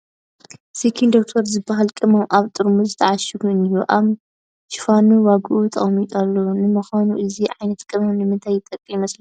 "Skin Doctor" ዝበሃል ቅመም ኣብ ጠርሙዝ ተዓሺጉ እኒሀ፡፡ ኣብ ሽፋኑ ዋግኡ ተቐሚጡሉ ኣሎ፡፡ ንምዃኑ እዚ ዓይነት ቅመም ንምንታይ ይጠቅም ይመስለኩም?